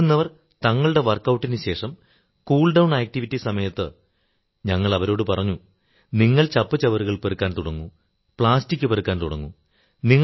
ഓടുന്നവർ തങ്ങളുടെ വർക്ക് ഔട്ടിനുശേഷം cooldown activity സമയത്ത് ഞങ്ങൾ അവരോടു പറഞ്ഞു നിങ്ങൾ ചപ്പുചവറുകൾ പെറുക്കാൻ തുടങ്ങൂ പ്ലാസ്റ്റിക് പെറുക്കാൻ തുടങ്ങൂ